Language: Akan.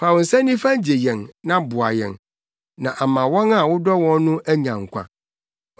Fa wo nsa nifa gye yɛn na boa yɛn, na ama wɔn a wodɔ wɔn no anya nkwa.